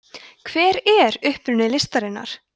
hver er uppruni listarinnar